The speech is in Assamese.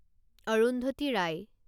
অৰুন্ধতী ৰায়